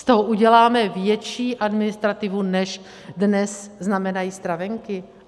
Z toho uděláme větší administrativu, než dnes znamenají stravenky.